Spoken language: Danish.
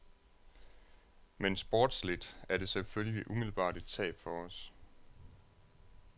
Men sportsligt er det selvfølgelig umiddelbart et tab for os.